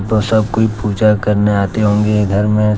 सब कोई पूजा करने आते होंगे ये इधर में।